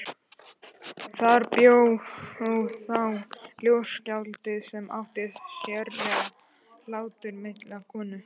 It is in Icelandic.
Þar bjó þá ljóðskáld sem átti sérlega hláturmilda konu.